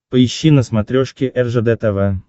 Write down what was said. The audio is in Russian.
поищи на смотрешке ржд тв